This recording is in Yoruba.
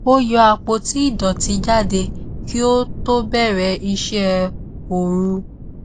ó yọ àpótí ìdòtí jáde kí ó tó bẹrẹ iṣẹ orú